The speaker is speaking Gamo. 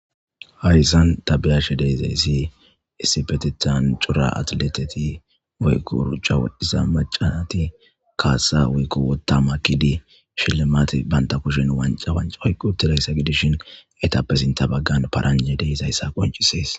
Hayssan tabiyashe deezayssi isibetetan cura atleteti weykurcha wodhdhisa macanati kaasa woykko wotama kidi shilimati banta kushin wanca wanc oyqquutilayssa gidishin etapesinta baggan paranje deisayssa qoncisees